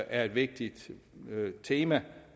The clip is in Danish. er vigtigt tema